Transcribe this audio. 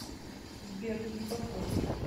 сбер не подходит